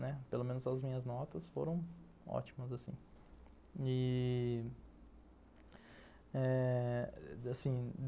Pelo menos as minhas notas foram ótimas assim e... eh... assim